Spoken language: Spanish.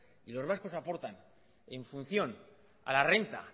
y los vascos aportan en función a la renta